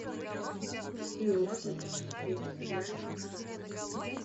какие можно посмотреть сериальчик шерлок